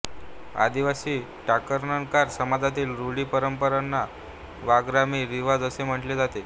आदिवासी टाकणकार समाजातील रूढी परंपराना वाघरामी रिवाज असे म्हटले जाते